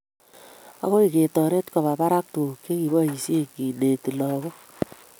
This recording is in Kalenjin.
Agoi getoret koba barak tuguk chekiboishen keneti lagook